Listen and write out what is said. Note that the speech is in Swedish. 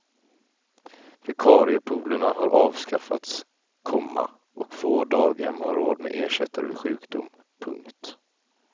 Vikariepoolerna har avskaffats, komma och få daghem har råd med ersättare vid sjukdom. punkt